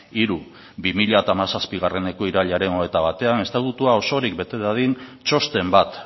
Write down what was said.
hiru bi mila hamazazpieko irailaren hogeita batean estatutua osorik bete dadin txosten bat